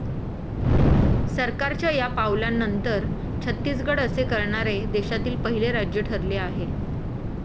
सरकारच्या या पावलानंतर, छत्तीसगड असे करणारे देशातील पहिले राज्य ठरले आहे.